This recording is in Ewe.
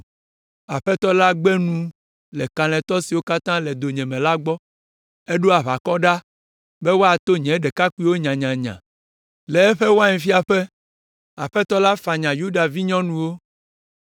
“Aƒetɔ la gbe nu le kalẽtɔ siwo katã le donyeme la gbɔ, eɖo aʋakɔ ɖa be woato nye ɖekakpuiwo nyanyanya. Le eƒe wainfiaƒe, Aƒetɔ la fanya Yuda Vinyɔnuwo.